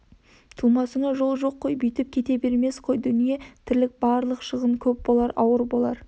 тумасыңа жол жоқ қой бүйтіп кете бермес қой дүние тірлік барлық шығын көп болар ауыр болар